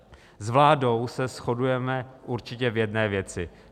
S vládou se shodujeme určitě v jedné věci.